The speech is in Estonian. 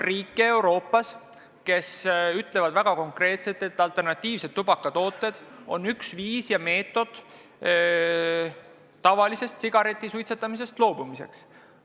Euroopas on riike, kes ütlevad konkreetselt, et alternatiivsed tubakatooted on üks viis tavalise sigareti suitsetamisest loobumiseks.